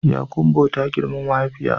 Yakumbo ta girmi mahaifiya